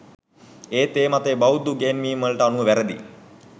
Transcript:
එත් ඒ මතය බෞද්ධ ඉගැන්වීම්වලට අනුව වැරදියි